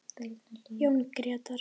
Jón Grétar.